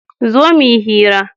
zo muyi hira!